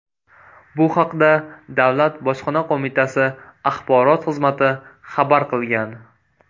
Bu haqda Davlat bojxona qo‘mitasi Axborot xizmati xabar qilgan .